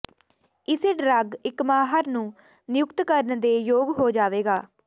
ਇਸੇ ਡਰੱਗ ਇਕ ਮਾਹਰ ਨੂੰ ਨਿਯੁਕਤ ਕਰਨ ਦੇ ਯੋਗ ਹੋ ਜਾਵੇਗਾ